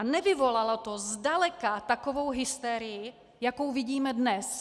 A nevyvolalo to zdaleka takovou hysterii, jakou vidíme dnes.